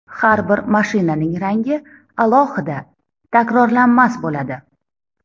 Har bir mashinaning rangi alohida takrorlanmas bo‘ladi.